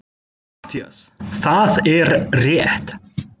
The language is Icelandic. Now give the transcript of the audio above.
MATTHÍAS: Það er rétt!